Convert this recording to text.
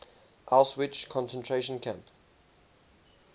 auschwitz concentration camp